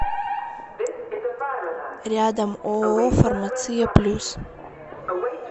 рядом ооо фармация плюс